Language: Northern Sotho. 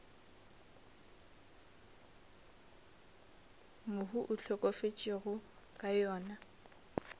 mohu a hlokafetšego ka yona